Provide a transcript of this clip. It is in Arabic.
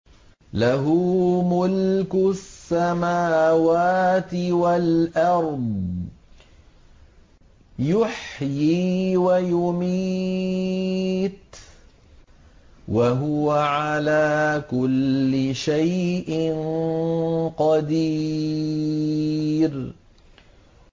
لَهُ مُلْكُ السَّمَاوَاتِ وَالْأَرْضِ ۖ يُحْيِي وَيُمِيتُ ۖ وَهُوَ عَلَىٰ كُلِّ شَيْءٍ قَدِيرٌ